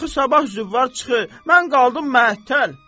Axı sabah züvvar çıxır, mən qaldım məhəttəl.